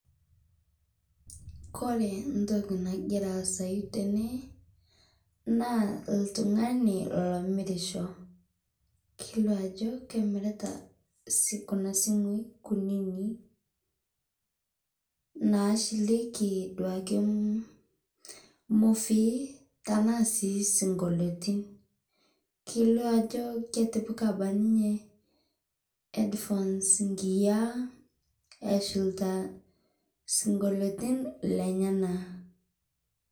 Kore ntokii nagira asayuu tene naa ltung'ani lomirisho. Keileo ajoo kemiritaa kuna simui nkunini naashilekii duake mofii tana sii sing'olotin. Keleo ajoo ketipaa abaki ninye head phones nkinyaa eshilitaa sing'olotin lenyana.